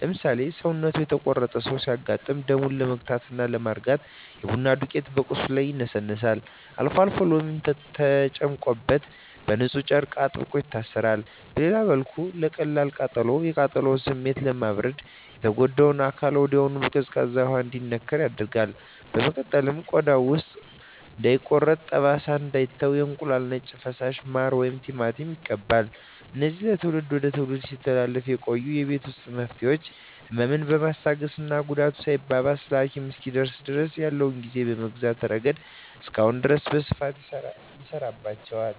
ለምሳሌ፣ ሰውነቱ የተቆረጠ ሰው ሲያጋጥም ደሙን ለመግታትና ለማርጋት የቡና ዱቄት በቁስሉ ላይ ይነሰነሳል፤ አልፎ አልፎም ሎሚ ተጨምቆበት በንፁህ ጨርቅ አጥብቆ ይታሰራል። በሌላ በኩል ለቀላል ቃጠሎ፣ የቃጠሎውን ስሜት ለማብረድ የተጎዳው አካል ወዲያውኑ በቀዝቃዛ ውሃ እንዲነከር ይደረጋል። በመቀጠልም ቆዳው ውሃ እንዳይቋጥርና ጠባሳ እንዳይተው የእንቁላል ነጭ ፈሳሽ፣ ማር ወይም ቲማቲም ይቀባል። እነዚህ ከትውልድ ወደ ትውልድ ሲተላለፉ የቆዩ የቤት ውስጥ መፍትሄዎች፣ ህመምን በማስታገስና ጉዳቱ ሳይባባስ ለሐኪም እስኪደርሱ ድረስ ያለውን ጊዜ በመግዛት ረገድ እስካሁን ድረስ በስፋት ይሠራባቸዋል።